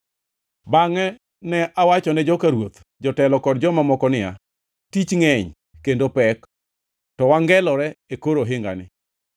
Bangʼe ne awachone joka ruoth, jotelo kod joma moko niya, “Tich ngʼeny kendo pek, to wangelore e kor ohingani.